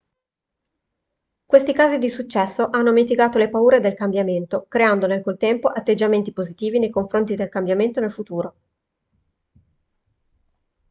questi casi di successo hanno mitigato le paure del cambiamento creando nel contempo atteggiamenti positivi nei confronti del cambiamento nel futuro